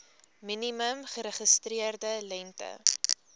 minimum geregistreerde lengte